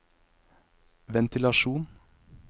ventilasjon